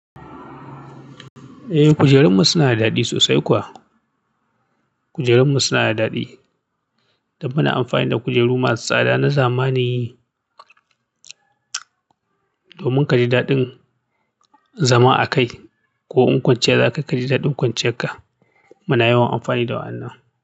Eh, kujerunmu suna da daɗi sosai kuwa. Kujerunmu suna da daɗi, da muna amfani da kujeru masu tsada na zamani. Domin ka ji daɗin zama a kai, ko in kwanciya zaka ka ji daɗin kwanciyarka. Muna yawan amfani da wa'annan.